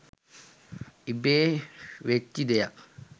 ඉබේ වෙච්චි දෙයක්..